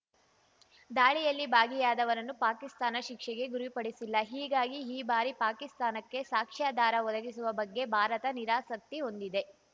ದಾಳಿಯಲ್ಲಿ ಭಾಗಿಯಾದವರನ್ನು ಪಾಕಿಸ್ತಾನ ಶಿಕ್ಷೆಗೆ ಗುರಿಪಡಿಸಿಲ್ಲ ಹೀಗಾಗಿ ಈ ಬಾರಿ ಪಾಕಿಸ್ತಾನಕ್ಕೆ ಸಾಕ್ಷ್ಯಾಧಾರ ಒದಗಿಸುವ ಬಗ್ಗೆ ಭಾರತ ನಿರಾಸಕ್ತಿ ಹೊಂದಿದೆ